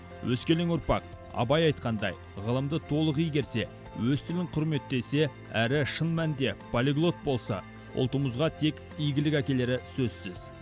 өскелең ұрпақ абай айтқандай ғылымды толық игерсе өз тілін құрметтесе әрі шын мәнінде полиглот болса ұлтымызға тек игілік әкелері сөзсіз